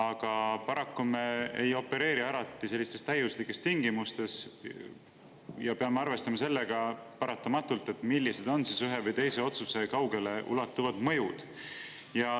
Aga paraku me ei opereeri alati sellistes täiuslikes tingimustes ja peame paratamatult arvestama sellega, millised on ühe või teise otsuse kaugeleulatuvad mõjud.